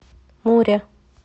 муре